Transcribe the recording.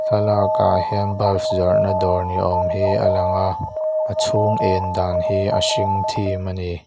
thlalak ah hian bulbs zawrh na dawr ni awm hi a lang a a chhung en dan hi a hring thim a ni.